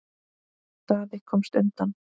Daði komst undan.